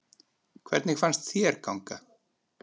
Hvernig fannst þér ganga?